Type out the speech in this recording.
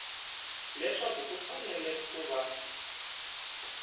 leswaku ku fanele ku va